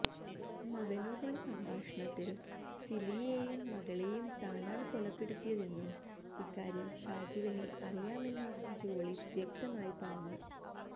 മകനോടുള്ള സംഭാഷണത്തിൽ സിലിയേയും മകളേയും താനാണ് കൊലപ്പെടുത്തിയതെന്നും ഇക്കാര്യം ഷാജുവിന് അറിയാമെന്നും ജോളി വ്യക്തമായി പറഞ്ഞു